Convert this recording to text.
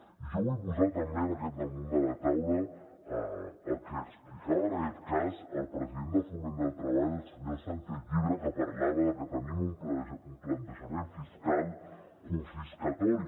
i jo vull posar també damunt de la taula el que explicava el president de foment del treball el senyor sánchez llibre que parlava de que tenim un plantejament fiscal confiscatori